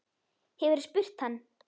Hefurðu spurt hann?